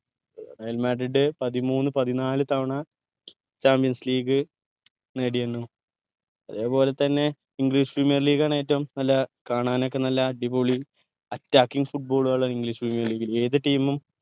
Real Madrid പതിമൂന്ന് പതിനാല് തവണ Champions League നേടിയിണ്‌ അതെ പോലെ തന്നെ English Premier League ആണ് ഏറ്റവും നല്ല കാണാൻ ഒക്കെ നല്ല അടിപൊളി Attacking football ഉകൾ English premier league ൽ ഏത് team ഉം